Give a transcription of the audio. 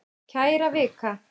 Kæra Vika!